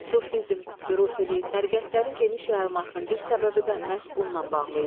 Sufizm, hürufili, təriqətlərin geniş yayılmasının bir səbəbi də məhz bununla bağlı idi.